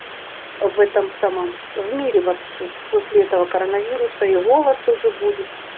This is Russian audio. в этом самом в мире вообще после этого коронавируса и голод тоже будет